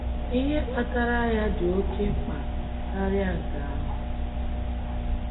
Ihe kpatara ya dị oke mkpa karịa nke ahụ.